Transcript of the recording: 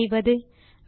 என்ன செய்வது